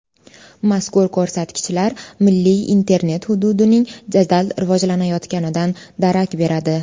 Mazkur ko‘rsatkichlar milliy internet hududining jadal rivojlanayotganidan darak beradi.